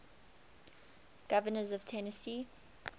governors of tennessee